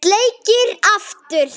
Sleikir aftur.